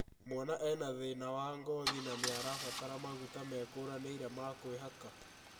Mwana ena thĩna wa ngothi na nĩarabatara maguta mekũranĩire ma kwĩhaka